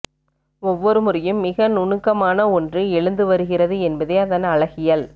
ஒவ்வொரு முறையும் மிகநுணுக்கமான ஒன்று எழுந்து வருகிறது என்பதே அதன் அழகியல்